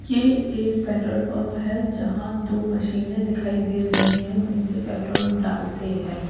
ये एक petrol pump है जहाँ दो मशीने दिखाई दे रही है जिनसे पेट्रोल डालते हैं।